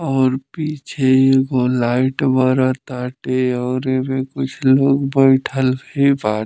और पीछे एगो लाइट बर ताटे और एमे कुछ लोग बइठल भी बा --